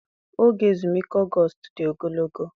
Oge ezumike August dị ogologo.